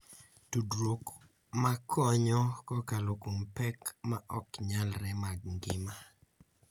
Tudruok ma konyo kokalo kuom pek ma ok nyalre mag ngima.